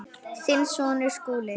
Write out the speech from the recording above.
Þinn sonur, Skúli.